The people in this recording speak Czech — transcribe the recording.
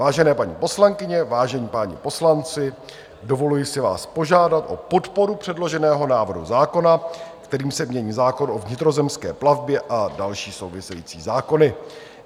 Vážené paní poslankyně, vážení páni poslanci, dovoluji si váš požádat o podporu předloženého návrhu zákona, kterým se mění zákon o vnitrozemské plavbě a další související zákony.